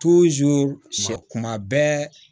sɛ kuma bɛɛ